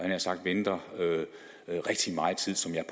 nær sagt venter i rigtig meget tid som jeg